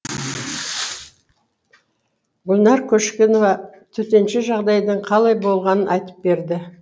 гүлнар көшкенова төтенше жағдайдың қалай болғанын айтып берді